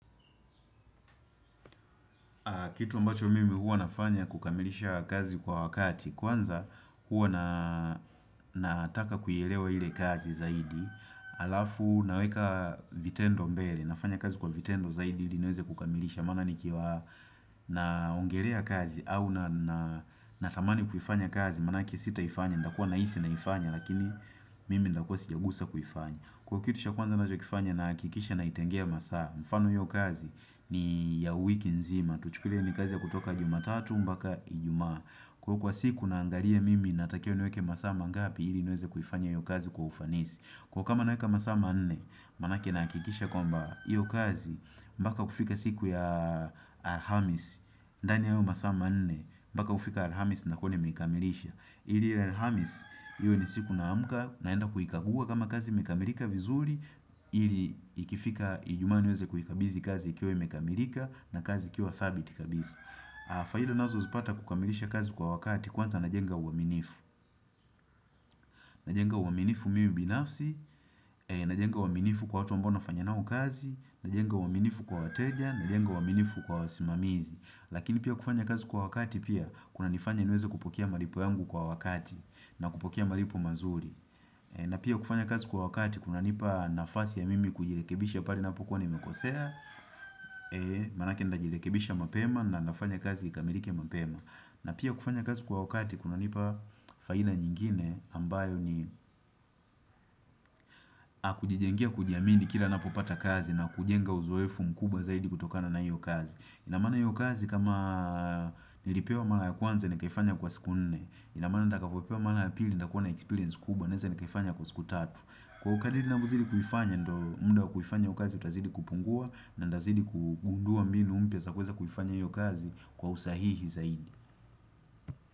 Kitu ambacho mimi huwa nafanya kukamilisha kazi kwa wakati, kwanza huwa na nataka kuielewa ile kazi zaidi, alafu naweka vitendo mbele, nafanya kazi kwa vitendo zaidi ili niweze kukamilisha, maana nikiwa naongelea kazi au natamani kuifanya kazi, maanake sitaifanya, ndakua nahisi naifanya, lakini mimi ndakua sijagusa kuifanya. Kwa kitu cha kwanza nachokifanya nahakikisha naitengea masaa mfano hiyo kazi ni ya wiki nzima Tuchukulie ni kazi ya kutoka jumatatu mbaka ijumaa kwa siku naangalia mimi natakiwa niweke masaa mangapi ili niweze kuifanya hiyo kazi kwa ufanisi Kwa kama naweka masaa manne manake nahakikisha kwamba hiyo kazi Mbaka kufika siku ya alhamis ndani ya hayoo masaa manne mbaka ufika alhamis nakuwa nimeikamilisha ili ile Alhamis, iwe ni siku naamka naenda kuikagua kama kazi imekamilika vizuri, ili ikifika ijumaa niweze kuhikabithi kazi ikiwa imekamilika na kazi ikiwa thabiti kabisa faida unazozipata kukamilisha kazi kwa wakati kwanza najenga uaminifu. Najenga uaminifu mimi binafsi, najenga uaminifu kwa watu ambo nafanya nao kazi, najenga uaminifu kwa wateja, najenga uaminifu kwa wasimamizi. Lakini pia kufanya kazi kwa wakati pia kunanifanya niweze kupokea malipo yangu kwa wakati na kupokea malipo mazuri na pia kufanya kazi kwa wakati kunanipa nafasi ya mimi kujirekebisha pale ninapokuwa nimekosea Manake ndajirekebisha mapema na nafanya kazi ikamilike mapema na pia kufanya kazi kwa wakati kunanipa faina nyingine ambayo ni akujijengea kujiamini kila napopata kazi na kujenga uzoefu mkubwa zaidi kutokana na hiyo kazi inamaana hiyo kazi kama nilipewa mara ya kwanza nikaifanya kwa siku nne inamaana ndakavopewa mara ya pili ndakuwa na experience kubwa Naeza ni kaifanya kwa siku tatu Kwa kadiri na kuziri kufanya ndo mda wa kuifanya hiyo kazi utazidi kupungua na ndazidi kugundua mbinu mpya za kuweza kufianya hiyo kazi kwa usahihi zaidi.